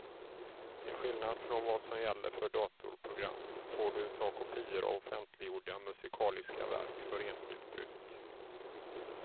Till skillnad från vad som gäller för datorprogram får du ta kopior av offentliggjorda musikaliska verk för enskilt bruk.